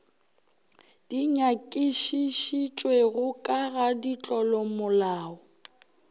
di nyakišišitšwego ka ga ditlolomolao